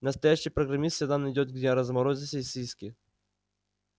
настоящий программист всегда найдёт где разморозить сосиски